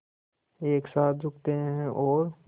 एक साथ झुकते हैं और